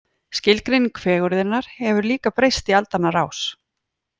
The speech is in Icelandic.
Skilgreining fegurðarinnar hefur líka breyst í aldanna rás.